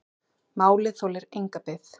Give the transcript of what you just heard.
Málið þolir enga bið.